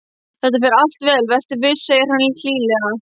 Þetta fer allt vel, vertu viss, segir hann hlýlega.